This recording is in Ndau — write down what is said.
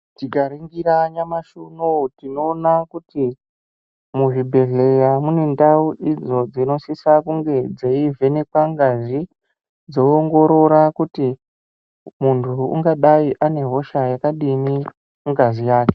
Tikaringira nyamashi unowu tinoona kuti muzvibhedhleya mune ndau idzo dzinosisa kunge dzeivheneka ngazi dzoongorora kuti muntu ungadai ane hosha yakadini mungazi yake .